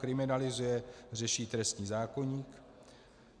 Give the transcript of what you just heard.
Kriminalizuje, řeší trestní zákoník.